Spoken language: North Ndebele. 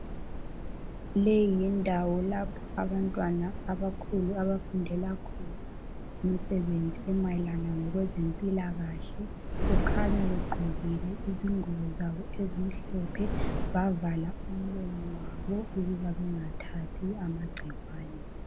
Leyi yindawo lapho abantwana abakhulu abafundela khona imisebenzi emayelana lezempilakahle. Kukhanya begqokile izingubo zabo ezimhlophe bavala umlomo wabo ukuba bengathathi amagcikwane.